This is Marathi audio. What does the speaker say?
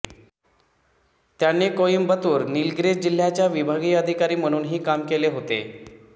त्यांनी कोईम्बतूर नीलग्रीस जिल्ह्यांच्या विभागीय अधिकारी म्हणूनही काम केले होते